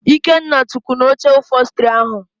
Ikenna tukwụ n'oche ụphọlstri ahụ